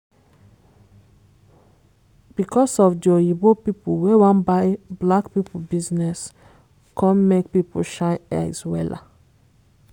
because of di oyinbo people wey wan buy black people business come make people shine eyes wella.